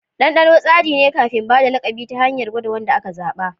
Dandano tsari ne kafin ba da lakabi ta hanyar gwada wanda aka zaba.